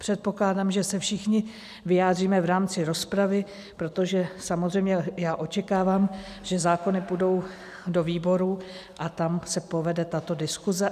Předpokládám, že se všichni vyjádříme v rámci rozpravy, protože samozřejmě já očekávám, že zákony půjdou do výborů a tam se povede tato diskuse.